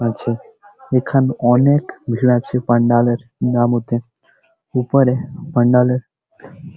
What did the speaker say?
আছে এখানে অনেক ভিড় আছে পান্ডাল -এর নামঠে উপরে পান্ডাল - এর --